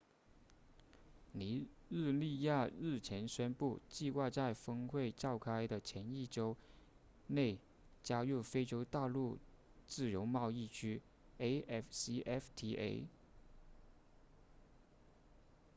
尼日利亚日前宣布计划在峰会召开的前一周内加入非洲大陆自由贸易区 afcfta